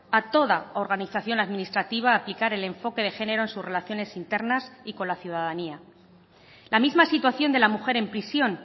a toda organización administrativa a aplicar el enfoque de género en sus relaciones internas y con la ciudadanía la misma situación de la mujer en prisión